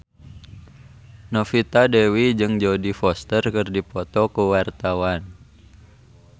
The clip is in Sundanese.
Novita Dewi jeung Jodie Foster keur dipoto ku wartawan